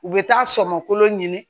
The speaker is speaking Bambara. U bɛ taa sɔmɔkolo ɲini